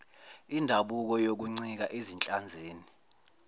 indabuko yokuncika ezinhlanzini